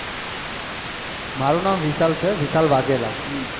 મારું નામ વિશાલ છે વિશાલ વાઘેલા